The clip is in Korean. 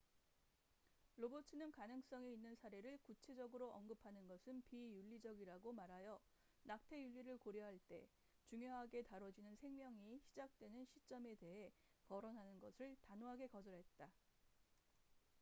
로버츠는 가능성이 있는 사례를 구체적으로 언급하는 것은 비윤리적이라고 말하여 낙태 윤리를 고려할 때 중요하게 다뤄지는 생명이 시작되는 시점에 대헤 거론하는 것을 단호하게 거절했다